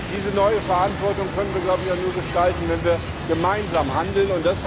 Diese neue Verantwortung können wir nur gestalten, wenn wir gemeinsam handeln.